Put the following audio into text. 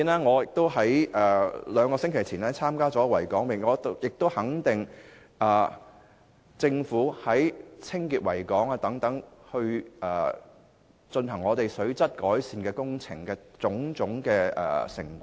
我在兩星期前參與維港泳，亦會肯定政府在清潔維港及進行水質改善工程上的工作成果。